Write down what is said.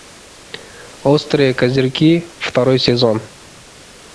острые козырьки второй сезон